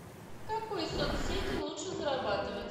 в какой соцсети лучше зарабатывать